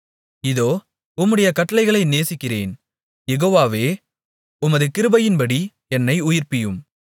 இதோ உம்முடைய கட்டளைகளை நேசிக்கிறேன் யெகோவாவே உமது கிருபையின்படி என்னை உயிர்ப்பியும்